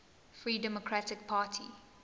free democratic party